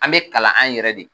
An bɛ kalan an yɛrɛ de